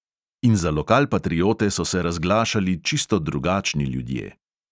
In za lokalpatriote so se razglašali čisto drugačni ljudje.